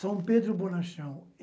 São Pedro Bonachão.